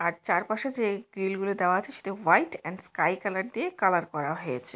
আর চারপাশে যে গ্রিল গুলো দেওয়া আছে সেটি হোয়াইট এন্ড স্কাই কালার দিয়ে কালার করা হয়েছে।